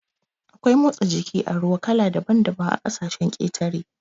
Akwai motsa jiki a ruwa kala daban daban a ƙasashen ƙetare